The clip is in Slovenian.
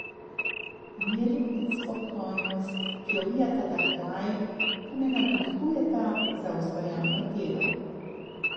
Mir in spokojnost, ki ovijata ta kraj, pa me navdihujeta za ustvarjalno delo.